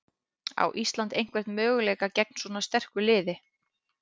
Á Ísland einhvern möguleika gegn svo sterku liði?